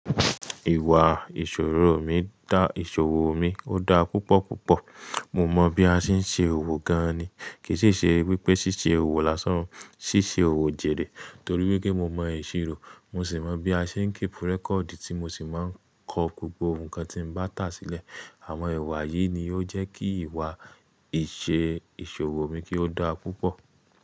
Ìwà ìṣoro mi dá ìṣòwò mi, ó dá púpọ̀ púpọ̀. Mo mọ bí a ṣe ń ṣe òwò gan ni. Kì í ṣe ẹ wípé ṣí ṣe òwò lásán, ṣí ṣe òwò jèrè. Torí wípé mo mọ ìṣirò, mo sì mọ bí a ṣe ń keep record tí mo sì máa ń kọ gbogbo nǹkan tí mo bá tà sílẹ̀. Àwọn ìwà yìí ni ó jẹ́ kí ìwà ìṣe ìṣòwò mi kí ó dáa púpọ̀.